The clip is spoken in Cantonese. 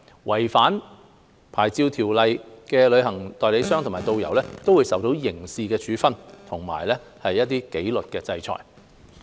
違反牌照條件的旅行代理商和導遊，會受到刑事處分及紀律制裁。